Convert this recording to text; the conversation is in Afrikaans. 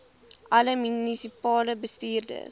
alle munisipale bestuurders